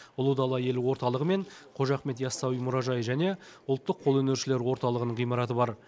ұлы дала елі орталығы мен қожа ахмет яссауи мұражайы және ұлттық қолөнершілер орталығының ғимараты бар